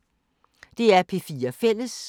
DR P4 Fælles